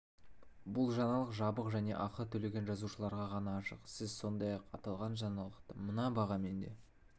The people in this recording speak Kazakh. бұл жаңалық жабық және ақы төлеген жазылушыларға ғана ашық сіз сондай-ақ аталған жаңалықты мына бағамен де